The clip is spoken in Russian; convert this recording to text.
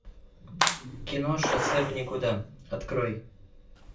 кино шоссе в никуда открой